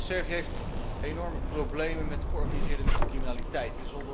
Servië heeft enorme problemen met de georganiseerde criminaliteit.